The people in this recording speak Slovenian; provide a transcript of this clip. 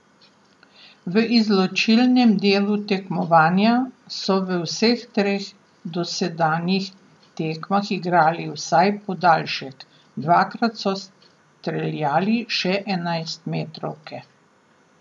V izločilnem delu tekmovanja so v vseh treh dosedanjih tekmah igrali vsaj podaljšek, dvakrat so streljali še enajstmetrovke.